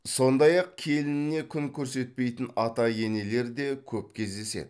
сондай ақ келініне күн көрсетпейтін ата енелер де көп кездеседі